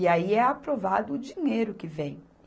E aí é aprovado o dinheiro que vem.